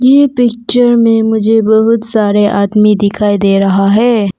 ये पिक्चर में मुझे बहुत सारे आदमी दिखाई दे रहा है।